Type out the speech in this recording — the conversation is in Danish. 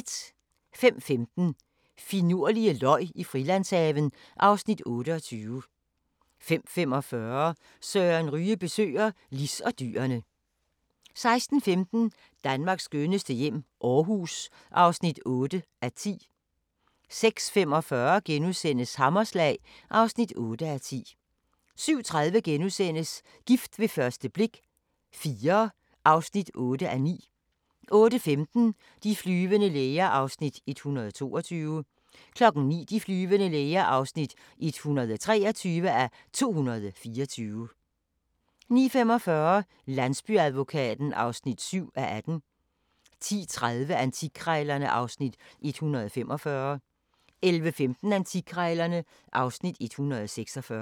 05:15: Finurlige løg i Frilandshaven (Afs. 28) 05:45: Søren Ryge besøger Lis og dyrene 06:15: Danmarks skønneste hjem - Aarhus (8:10) 06:45: Hammerslag (8:10)* 07:30: Gift ved første blik – IV (8:9)* 08:15: De flyvende læger (122:224) 09:00: De flyvende læger (123:224) 09:45: Landsbyadvokaten (7:18) 10:30: Antikkrejlerne (Afs. 145) 11:15: Antikkrejlerne (Afs. 146)